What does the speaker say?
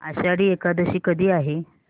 आषाढी एकादशी कधी आहे